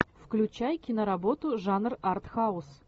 включай киноработу жанр артхаус